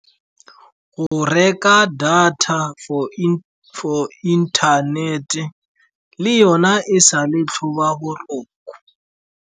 Go reka data for inthanete le yona e sa le tlhoba boroko.